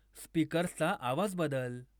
स्पीकर्सचा आवाज बदल